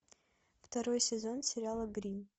второй сезон сериала гримм